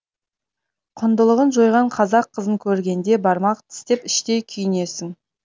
құндылығын жойған қазақ қызын көргенде бармақ тістеп іштей күйінесің